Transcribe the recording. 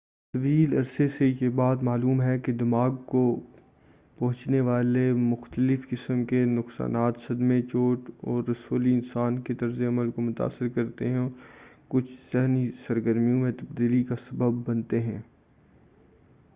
طویل عرصے سے یہ بات معلوم ہے کہ دماغ کو پہنچنے والے مختلف قسم کے نقصان صدمے چوٹ اور رسولی انسان کے طرز عمل کو متاثر کرتے ہیں اور وہ کچھ ذہنی سرگرمیوں میں تبدیلی کا سبب بنتے ہیں